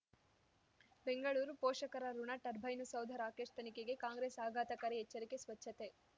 ಬೆಂಗಳೂರು ಪೋಷಕರಋಣ ಟರ್ಬೈನು ಸೌಧ ರಾಕೇಶ್ ತನಿಖೆಗೆ ಕಾಂಗ್ರೆಸ್ ಆಘಾತಕಾರಿ ಎಚ್ಚರಿಕೆ ಸ್ವಚ್ಛತೆ